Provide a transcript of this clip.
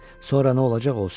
Sonra nə olacaq olsun.